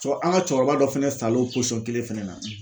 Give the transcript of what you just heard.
Cɔ an ka cɛkɔrɔba dɔ fana sal'o posɔn kelen fɛnɛ na.